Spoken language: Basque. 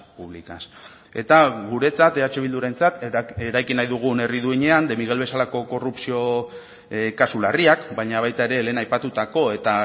públicas eta guretzat eh bildurentzat eraiki nahi dugun herri duinean de miguel bezalako korrupzio kasu larriak baina baita ere lehen aipatutako eta